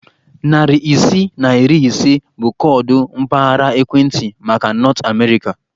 Narị isii na iri ise bụ koodu mpaghara ekwentị maka Nọt Amerịka.